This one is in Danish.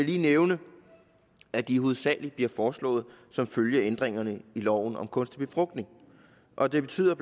lige nævne at de hovedsaglig bliver foreslået som følge af ændringerne i loven om kunstig befrugtning og det betyder